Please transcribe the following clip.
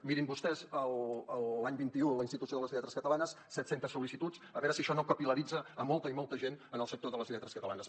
mirin vostès l’any vint un a la institució de les lletres catalanes set centes sol·licituds a veure si això no capil·laritza molta i molta gent en el sector de les lletres catalanes